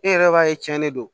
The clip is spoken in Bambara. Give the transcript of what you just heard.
E yɛrɛ b'a ye tiɲɛni don